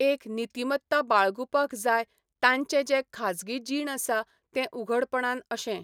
एक नितिमत्ता बाळगूपाक जाय तांचें जें खाजगी जीण आसा तें उघडपणान अशें